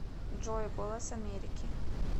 джой голос америки